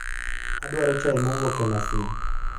adwaro chai mowuok e masin